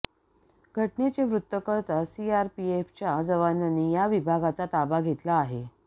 घटनेचे वृत्त कळताच सीआरपीएफच्या जवानांनी या विभागाचा ताबा घेतला आहे